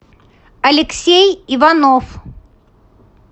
алексей иванов